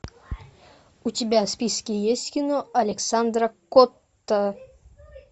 у тебя в списке есть кино александра котта